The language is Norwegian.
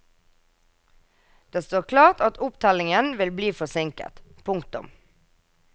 Det står klart at opptellingen vil bli forsinket. punktum